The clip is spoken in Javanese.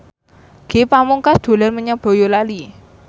Ge Pamungkas dolan menyang Boyolali